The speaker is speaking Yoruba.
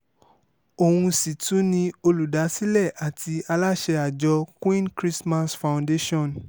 òun sì tún ni olùdásílẹ̀ àti aláṣẹ àjọ queen christmas foundation